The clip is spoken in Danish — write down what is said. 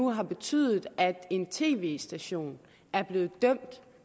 har betydet at en tv station er blevet dømt